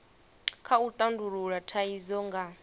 kha u tandulula thaidzo nga